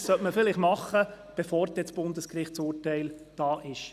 Das sollte man vielleicht tun, bevor das Bundesgerichtsurteil vorliegt.